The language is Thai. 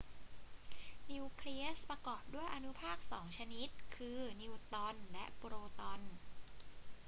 นิวเคลียสประกอบด้วยอนุภาคสองชนิด คือ นิวตรอนและโปรตอน